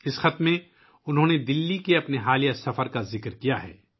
اس خط میں انہوں نے اپنے حالیہ دلّی کے دورے کا ذکر کیا ہے